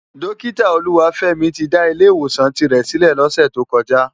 Dókitá Oluwafemi ti dá Ilè Iwósán tirè silè lòsè tókòjá